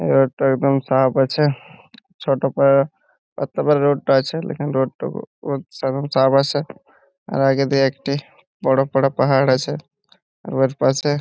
Road -টা একদম সাফ আছে | ছোট পা তারপর রোড টা আছে. লেকিন রোড টা সাফ আছে | আর আগে দিয়ে একটি বড় পারা পাহাড় আছে | ওয়ার পাশে --